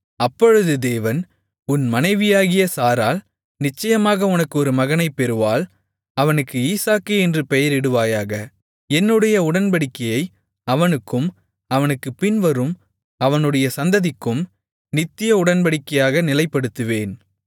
அப்பொழுது தேவன் உன் மனைவியாகிய சாராள் நிச்சயமாக உனக்கு ஒரு மகனைப் பெறுவாள் அவனுக்கு ஈசாக்கு என்று பெயரிடுவாயாக என்னுடைய உடன்படிக்கையை அவனுக்கும் அவனுக்குப் பின்வரும் அவனுடைய சந்ததிக்கும் நித்திய உடன்படிக்கையாக நிலைப்படுத்துவேன்